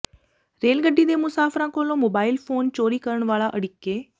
ਰੇਲਗੱਡੀ ਦੇ ਮੁਸਾਫ਼ਰਾਂ ਕੋਲੋਂ ਮੋਬਾਇਲ ਫੋਨ ਚੋਰੀ ਕਰਨ ਵਾਲਾ ਅੜਿੱਕੇ